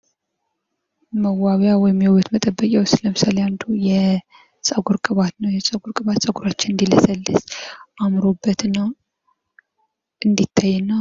መዋቢያ ወይም የውበት መጠበቂያዎች ውስጥ አንዱ የፀጉር ቅባት ነው ፤ የፀጉር ቅባት ፀጉራችን እንዲለሰልስ እና አምሮበት እንዲታይ ያደርጋል።